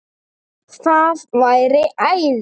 Það væri æði